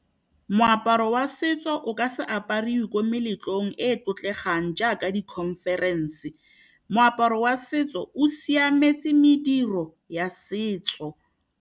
Moaparo wa setso o ka se apariwe ko meletlong e e tlotlegang jaaka di-conference, moaparo wa setso o siametse mediro ya setso.